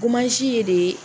ye de